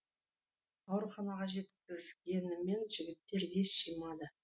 ауруханаға жеткізгенімен жігіттер ес жимады